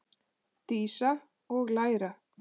Dísa: Og læra.